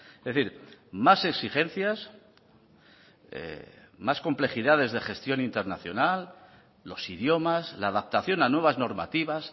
es decir más exigencias más complejidades de gestión internacional los idiomas la adaptación a nuevas normativas